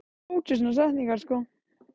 En ég er ánægður núna, með sigurinn og mörkin.